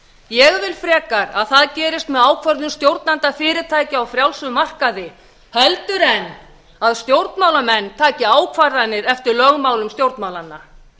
ég vil frekar að það gerist með ákvörðunum stjórnenda fyrirtækja á frjálsum markaði heldur en að stjórnmálamenn taki ákvarðanir eftir lögmálum stjórnmálanna